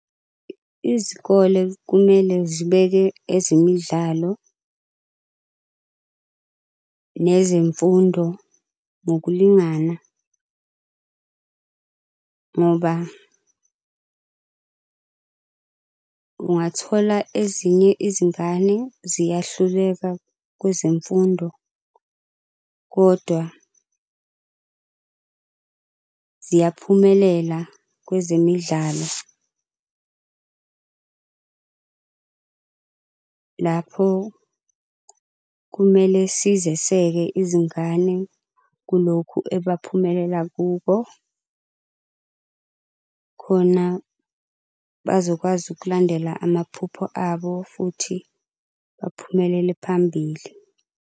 Izikole kumele zibeke ezemidlalo nezemfundo ngokulingana ngoba ungathola ezinye izingane ziyahluleka kwezemfundo kodwa ziyaphumelela kwezemidlalo. Lapho kumele sizeseke izingane kulokhu ebaphumelele kuko, khona bazokwazi ukulandela amaphupho abo futhi baphumelele phambili.